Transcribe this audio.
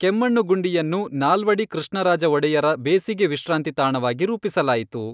ಕೆಮ್ಮಣ್ಣುಗುಂಡಿಯನ್ನು ನಾಲ್ವಡಿ ಕೃಷ್ಣರಾಜ ಒಡೆಯರ ಬೇಸಿಗೆ ವಿಶ್ರಾಂತಿ ತಾಣವಾಗಿ ರೂಪಿಸಲಾಯಿತು.